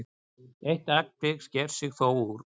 Eitt tilvik sker sig þó úr.